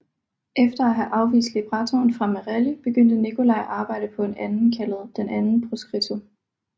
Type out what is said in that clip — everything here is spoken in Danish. Efter at have afvist librettoen fra Merelli begyndte Nicolai at arbejde på en anden kaldet Il Proscritto